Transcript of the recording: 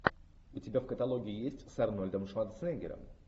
у тебя в каталоге есть с арнольдом шварценеггером